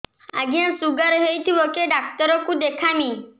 ଆଜ୍ଞା ଶୁଗାର ହେଇଥିବ କେ ଡାକ୍ତର କୁ ଦେଖାମି